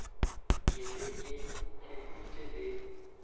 ke be ke theeditše le